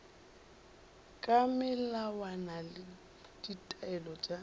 ka melawana le ditaelo tša